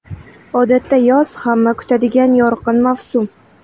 Odatda yoz hamma kutadigan yorqin mavsum.